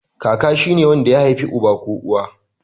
Kaka shine wanda ya haifi uba ko uwa.